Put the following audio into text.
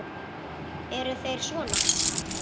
Eru þeir sona?